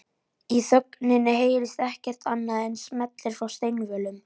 Í þögninni heyrist ekkert annað en smellir frá steinvölum